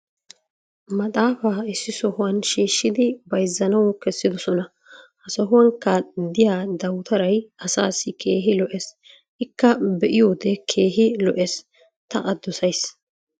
maxaafaa issi sohuwan shiishshidi bayzzanawu kessidosona. ha sohuwankka diya dawutaray asaassi keehi lo'ees. ikka be'iyoode keehi lo'ees. ta a dosays.